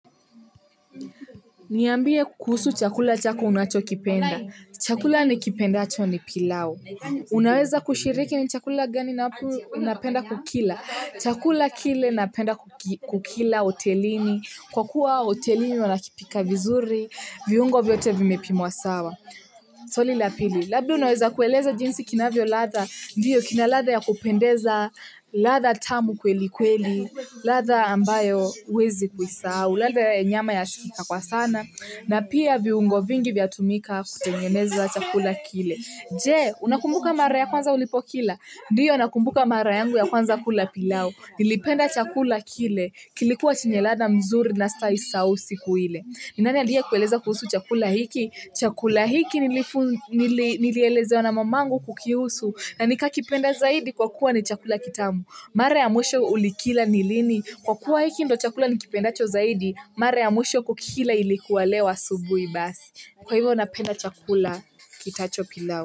Niyambie kuhusu chakula chako unacho kipenda. Chakula nikipenda acho ni pilau. Unaweza kushiriki ni chakula gani napenda kukila. Chakula kile napenda kukila hotelini. Kwa kuwa otelini wanakipika vizuri, viungo vyote vimepimua sawa. Swali lapili. Labda unawesa kueleza jinsi kinavio latha. Ndiyo kina latha ya kupendeza latha tamu kweli kweli. Latha ambayo uwezi kuisau. Latha nyama ya shikika kwa sana. Na pia viungo vingi vya tumika kutengeneza chakula kile. Je, unakumbuka mara ya kwanza ulipo kila. Ndiyo nakumbuka mara yangu ya kwanza kula pilau. Nilipenda chakula kile. Kilikuwa chenye lada mzuri na staisau siku ile. Ninani alia kueleza kuhusu chakula hiki? Chakula hiki nilielezeo na mamangu kukiusu na nika kipenda zaidi kwa kuwa ni chakula kitamu. Mare ya mwesho ulikila nilini. Kwa kuwa hiki ndo chakula ni kipenda cho zaidi. Mare ya mwesho kukila ilikuwa leo asubui basi. Kwa hivyo napenda chakula kitacho pilau.